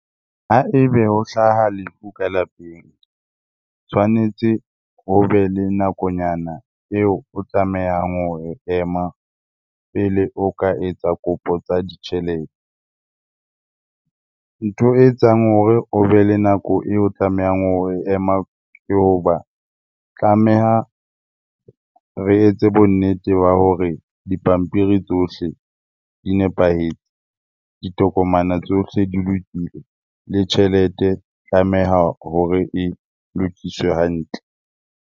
Ha ebe ho hlaha lefu ka lapeng tshwanetse o be le nakonyana eo o tlamehang ho e ema pele o ka etsa kopo tsa ditjhelete. Ntho e etsang hore o be le nako eo o tlamehang ho e ema ke hoba, tlameha re etse bonnete ba hore dipampiri tsohle di nepahetse, ditokomana tsohle di lokile le tjhelete tlameha hore e lokiswe hantle.